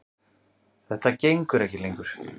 Þetta gengur ekki lengur.